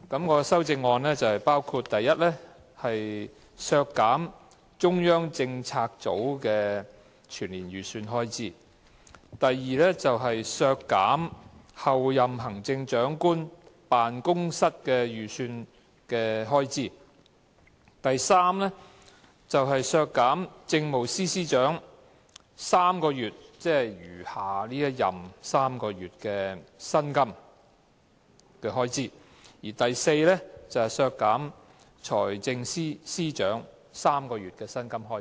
我的修正案包括，第一，削減中央政策組的全年預算開支；第二，削減候任行政長官辦公室預算運作的開支；第三，削減政務司司長餘下3個月任期的薪金開支；及第四，削減財政司司長3個月薪金的開支。